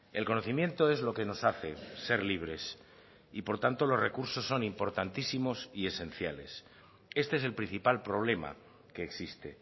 el conocimiento es lo que nos hace ser libres y por tanto los recursos son importantísimos y esenciales este es el principal problema que existe